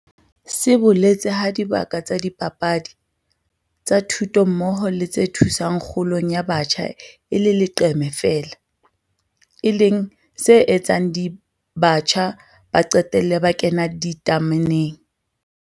se boletse ha dibaka tsa dipapadi, tsa thuto mmoho le tse thusang kgolong ya batjha e le leqeme feela, e leng se etsang batjha ba qetelle ba 'kena ditameneng'.